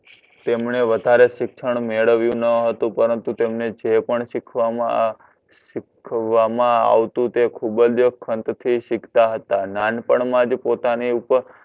તેમણે વધારે શિક્ષણ મેળવ્યૂ ન હતું પરંતુ જે પણ શીખવામા આવતું તે ખુબજ ખંત થી સિખતા નાનપણ માજ પોતાની ઉપપર